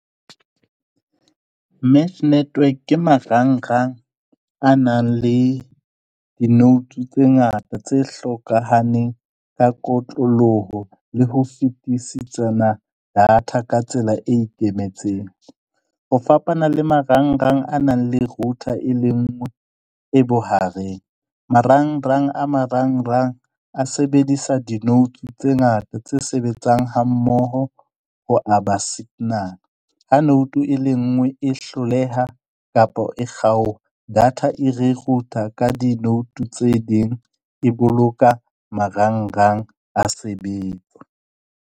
Match network ke marang-rang a nang le di-notes tse ngata tse hlokahaneng ka kotloloho le ho fetisisana data ka tsela e ikemetseng. Ho fapana le marang-rang a nang le router e le nngwe e bohareng. Marang-rang a marang-rang a sebedisa, di-notes tse ngata tse sebetsang ha mmoho ho aba signal. Ha note e le nngwe e hloleha kapa e kgaoha, data e re ruta ka di-note tse ding e boloka marang-rang a sebetsa.